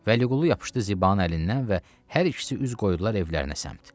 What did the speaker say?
Vəliqulu yapışdı Zibanın əlindən və hər ikisi üz qoydular evlərinə səmt.